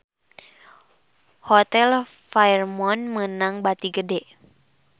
Hotel Fairmont meunang bati gede